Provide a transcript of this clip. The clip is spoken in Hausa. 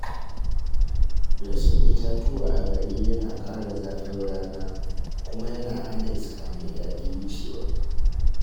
Rashin itatuwa a gari yana ƙara zafin rana kuma yana hana iska mai daɗi wucewa.